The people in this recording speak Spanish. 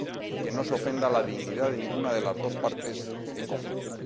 y que no se ofenda la dignidad de ninguna de las dos partes en conflicto.